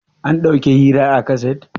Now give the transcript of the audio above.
an dàuki hirar a kaset?